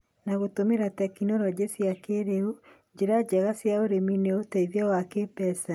na gũtũmĩra tekinoronjĩ cia kĩrĩu, njĩra njega cia ũrĩmi, na ũteithio wa kĩmbeca.